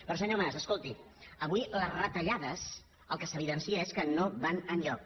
però senyor mas escolti avui les retallades el que s’evidencia és que no van enlloc